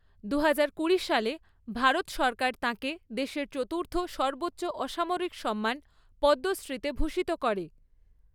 দু হাজার কুড়ি সালে ভারত সরকার তাঁকে দেশের চতুর্থ সর্বোচ্চ অসামরিক সম্মান পদ্মশ্রীতে ভূষিত করে।